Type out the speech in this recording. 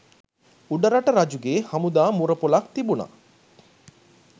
උඩරට රජුගේ හමුදා මුරපොළක් තිබුණ